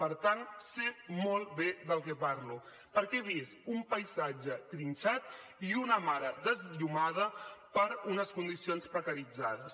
per tant sé molt bé del que parlo perquè he vist un paisatge trinxat i una mare esllomada per unes condicions precaritzades